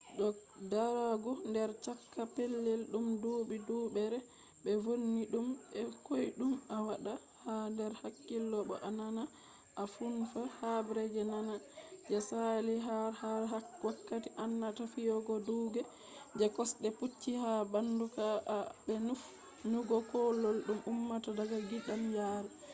ko darugo nder chaka pellel dum dubi-dubure be vonni dum be koydum a wadda ha der hakkilo bo a naana a nufna habre je nane je saali har ha wakati ananata fiyugo duuke je kosde pucci ha bandu ka'a be nufnugo kullol dum ummata daga gidanyaari